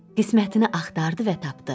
Qismətini axtardı və tapdı.